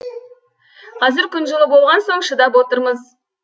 қазір күн жылы болған соң шыдап отырмыз